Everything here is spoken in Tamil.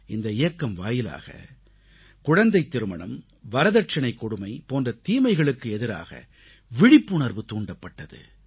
இந்த இயக்கம் வாயிலாக குழந்தைத் திருமணம் வரதட்சணைக் கொடுமை போன்ற தீமைகளுக்கு எதிராக விழிப்புணர்வு தூண்டப்பட்டது